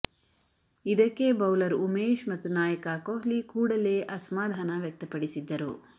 ಇದಕ್ಕೆ ಬೌಲರ್ ಉಮೇಶ್ ಮತ್ತು ನಾಯಕ ಕೊಹ್ಲಿ ಕೂಡಲೇ ಅಸಮಾಧಾನ ವ್ಯಕ್ತಪಡಿಸಿದ್ದರು